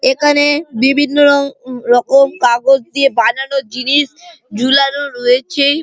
এখানে-এ বিভিন্ন-ও রকম কাগজ দিয়ে বানানো জিনিস ঝুলানো রয়েছে।